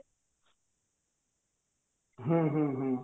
ହୁଁ ହୁଁ ହୁଁ